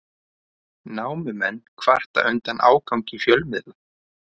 Námumenn kvarta undan ágangi fjölmiðla